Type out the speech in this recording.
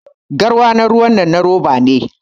Garwa na ruwa dinnan na roba ne